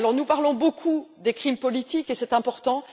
Nous parlons beaucoup des crimes politiques, et c'est important